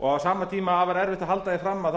og á sama tíma afar erfitt að halda því fram að það